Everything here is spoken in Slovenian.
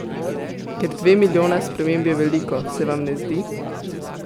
Ker dve milijona sprememb je veliko, se vam ne zdi?